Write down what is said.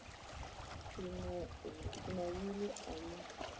si na wili a no